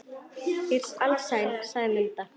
Ég er alsæl, sagði Munda.